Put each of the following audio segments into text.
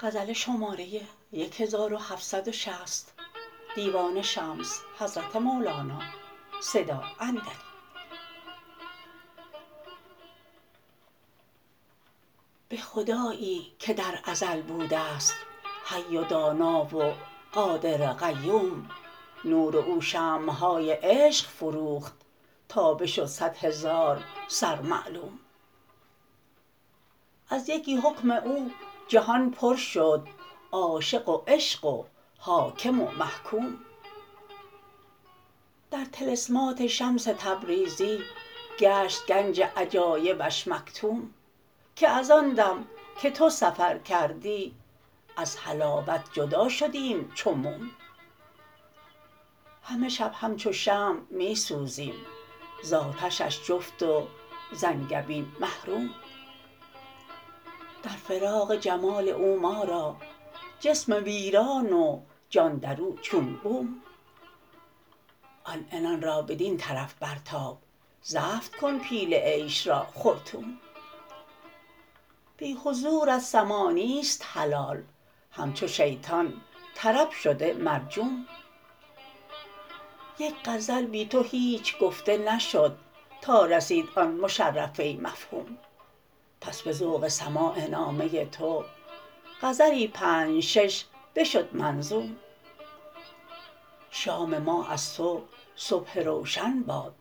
به خدایی که در ازل بوده ست حی و دانا و قادر و قیوم نور او شمع های عشق فروخت تا بشد صد هزار سر معلوم از یکی حکم او جهان پر شد عاشق و عشق و حاکم و محکوم در طلسمات شمس تبریزی گشت گنج عجایبش مکتوم که از آن دم که تو سفر کردی از حلاوت جدا شدیم چو موم همه شب همچو شمع می سوزیم ز آتشش جفت وز انگبین محروم در فراق جمال او ما را جسم ویران و جان در او چون بوم آن عنان را بدین طرف برتاب زفت کن پیل عیش را خرطوم بی حضورت سماع نیست حلال همچو شیطان طرب شده مرحوم یک غزل بی تو هیچ گفته نشد تا رسید آن مشرفه مفهوم بس به ذوق سماع نامه تو غزلی پنج شش بشد منظوم شام ما از تو صبح روشن باد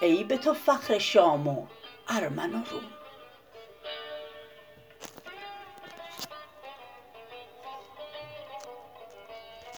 ای به تو فخر شام و ارمن و روم